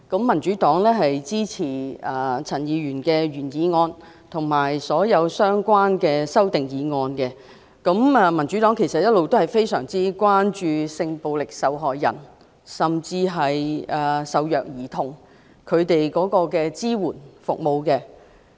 民主黨會支持陳議員的原議案及所有相關的修正案，因為我們一直非常關注為性暴力受害人和受虐兒童提供的支援服務。